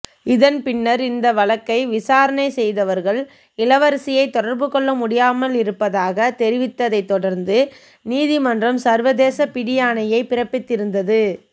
இதன் பின்னர் இந்த வழக்கை விசாரணை செய்தவர்கள் இளவரசியை தொடர்புகொள்ள முடியாமலிருப்பதாக தெரிவித்ததை தொடர்ந்து நீதிமன்றம் சர்வதேச பிடியாணையை பிறப்பித்திருந்தது